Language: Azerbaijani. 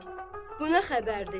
bu nə xəbərdir?